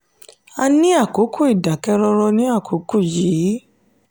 a ń ní àkókò ìdákẹ́rọ̀ ní àkókò yìí".